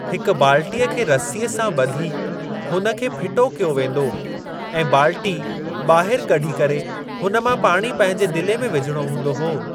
हिक बालटीअ खे रस्सीअ सां ब॒धी हुन खे फिटो कयो वेंदो ऐ बालटी ॿाहिरि कढी करे हुनमां पाणी पंहिंजे दिले में विझणो हूंदो हो।